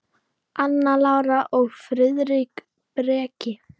Anna Lára og Friðrik Breki.